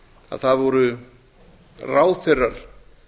að það voru ráðherrar